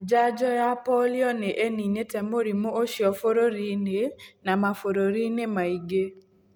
Njanjo ya polio nĩ ĩninĩte mũrimũ ũcio bũrũri-inĩ na mabũrũri-inĩ mangĩ.